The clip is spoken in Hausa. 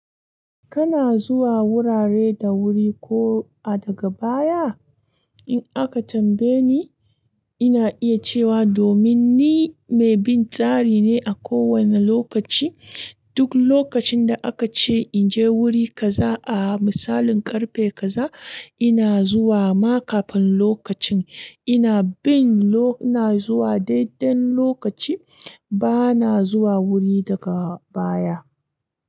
Kana zuwa wurare da wuri ko a daga baya? In aka tambaye ni, ina iya cewa domin ni mai bin tsari ne a kowane lokaci. Duk lokacin da aka ce in je wuri kaza a misalin karfe kaza, ina zuwa ma kafin lokacin. Ina bin lo-- ina zuwa daidai lokaci, ba na zuwa wuri daga baya.